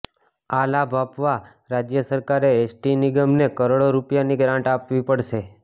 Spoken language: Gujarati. આ લાભ આપવા રાજ્ય સરકારે એસટી નિગમને કરોડો રૂપિયાની ગ્રાંટ આપવી પડશે